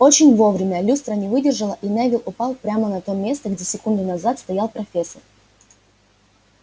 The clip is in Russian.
очень вовремя люстра не выдержала и невилл упал прямо на то место где секунду назад стоял профессор